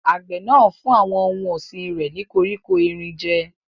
Àgbẹ̀ náà ń fún àwọn ohun ọ̀sìn rẹ̀ ní koríko erin jẹ́.